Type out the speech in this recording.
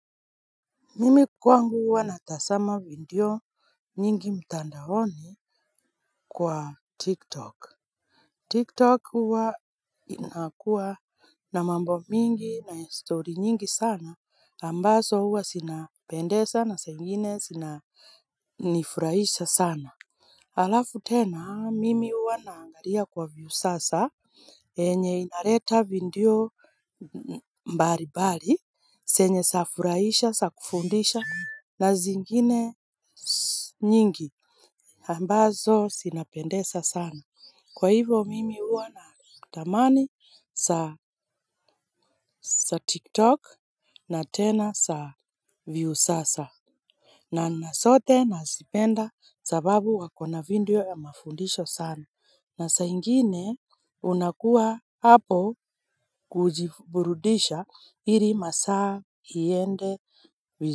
Mimi kwangu huwa natazama video nyingi mtandaoni kwa Tiktok Tiktok huwa inakuwa na mambo mingi na story nyingi sana ambazo huwa zinapendeza na zingine zinanifurahisha sana halafu tena mimi huwa naangalia kwa Viusasa yenye inaleta video mbalimbali zenye zinafurahisha na kufundisha na zingine nyingi ambazo zinapendeza sana kwa hivyo mimi huwa natamani za TikTok na tena za Viusasa. Na zote nazipenda sababu wako na video ya mafundisho sana na saa ingine unakuwa hapo kujiburudisha ili masaa iende vizuri.